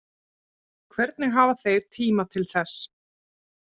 Hvernig hafa þeir tíma til þess